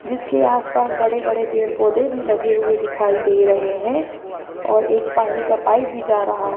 जिसके आस पास बड़े बड़े पेड़ पौधे भी लगे हुए दिखाई दे रहे हैं और एक पानी का पाइप भी जा रहा --